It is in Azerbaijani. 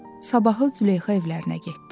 Sabahı Züleyxa evlərinə getdi.